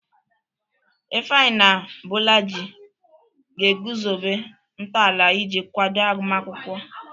Ifeanyi na Bolaji ga-eguzobe ntọala iji kwado agụmakwụkwọ.